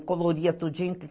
E coloria tudinho.